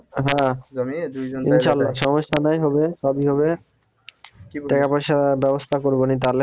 হা ইনশাল্লাহ সমস্যা নাই হবে সবই হবে টাকা পয়সা ব্যবস্থা করবো নি তালে